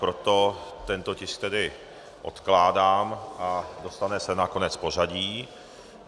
Proto tento tisk tedy odkládám a dostane se na konec pořadí.